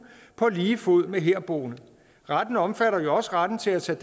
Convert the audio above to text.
på lige fod med herboende retten omfatter jo også retten til at tage